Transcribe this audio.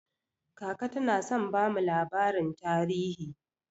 Kaka tana son bamu labarin tarihi.